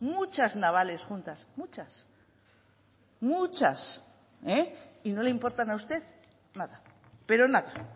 muchas navales juntas muchas muchas eh y no le importan a usted nada pero nada